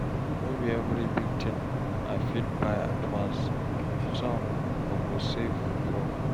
No be every big thing I fit buy at once, some I go save for.